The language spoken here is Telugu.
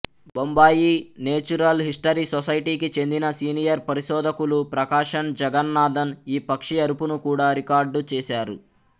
బొంబాయి నేచురల్ హిస్టరీ సొసైటీకి చెందిన సీనియర్ పరిశోధకులు ప్రకాశన్ జగన్నాధన్ ఈ పక్షి అరుపును కూడా రికార్డు చేసారు